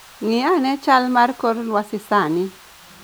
Ng'i ane chal mar kor lwasi sani.